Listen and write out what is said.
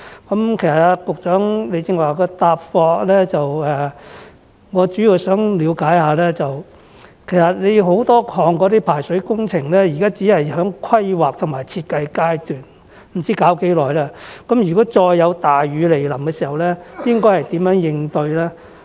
關於局長剛才的答覆，我主要想了解的是，多項排水工程現在只處於規劃和設計階段，不知道需時多久才能完成，那麼當再有大雨來臨時，當局應如何應對呢？